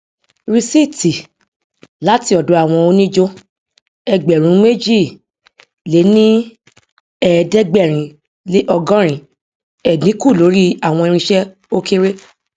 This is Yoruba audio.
rìsíìtì láti ọdọ àwọn oníjó ẹgbèrúnméjìléníẹẹdẹgbẹrinleọgọrin ẹdínkù lórí àwọn irinṣẹ o kere